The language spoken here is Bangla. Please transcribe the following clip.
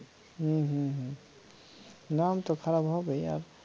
হম হম হম নাম তো খারাপ হবেই আর